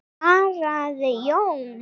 svarar Jón.